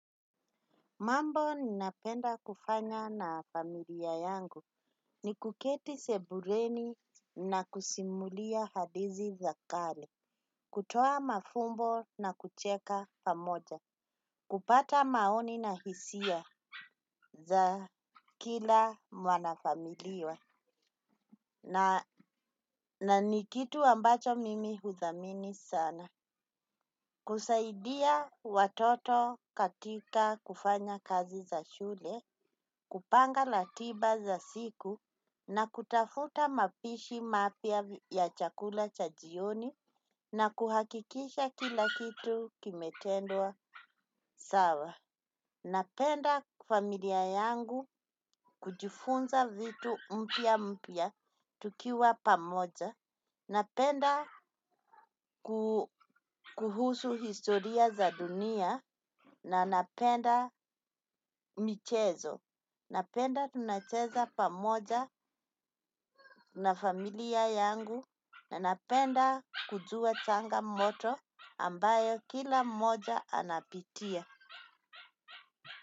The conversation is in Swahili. Mambo ninapenda kufanya na familia yangu. Ni kuketi sebureni na kusimulia hadizi za kale. Kutoa mafumbo na kucheka pamoja. Kupata maoni na hisia za kila mwanafamilia. Na ni kitu ambacho mimi hudhamini sana. Kusaidia watoto katika kufanya kazi za shule. Kupanga ratiba za siku, na kutafuta mapishi mapya ya chakula cha jioni, na kuhakikisha kila kitu kimetendwa sawa. Ninapenda familia yangu, kujifunza vitu mpya mpya, tukiwa pamoja. Napenda kuhusu historia za dunia na napenda michezo. Napenda tunacheza pamoja na familia yangu. Ninapenda kujua changamoto ambayo kila mmoja anapitia.